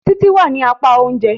Títí wá ní apá oúnjẹ.